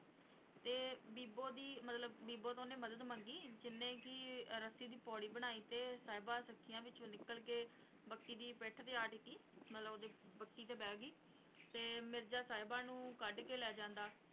ਤੇ ਬੀਬੋ ਦੀ ਮਤਲਬ ਬੀਬੋ ਤੋਂ ਉਹਨੇ ਮਦਦ ਮੰਗੀ ਜਿਹਨੇ ਕਿ ਰੱਸੀ ਦੀ ਪੌੜੀ ਬਣਾਈ ਤੇ ਸਾਹਿਬਾਂ, ਸਖੀਆਂ ਵਿੱਚੋਂ ਨਿਕਲ ਕੇ ਬੱਕੀ ਦੀ ਪਿੱਠ ਤੇ ਆ ਟਿੱਕੀ ਮਤਲਬ ਉਹਦੇ ਬੱਕੀ ਤੇ ਬਹਿ ਗਈ ਤੇ ਮਿਰਜ਼ਾ ਸਾਹਿਬਾਂ ਨੂੰ ਕੱਢ ਕੇ ਲੈ ਜਾਂਦਾ